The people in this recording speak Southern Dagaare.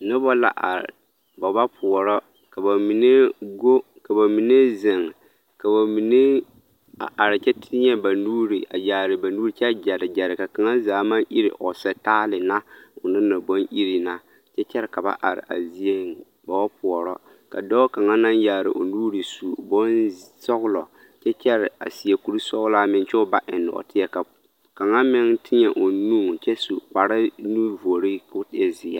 Noba la are ba ba poɔrɔ ka ba mine go ka ba mine zeŋ ka ba mine are kyɛ teɛ ba nuure a yaare ba nuure kyɛ gyere gyere ka kaŋa zaa maŋ iri sitaale na o naŋ na baŋ iri na kyɛ ka are a zieŋ ba wa poɔrɔ ka dɔɔ kaŋa naŋ yaare o nuure su bonsɔglɔ kyɛ kyɛre seɛ kurisɔglaa meŋ kyɛ o ba eŋ nɔɔteɛ kaŋa meŋ teɛ o nu kyɛ su kparenuvore ka o e zeɛ.